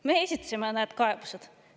Me esitasime need kaebused.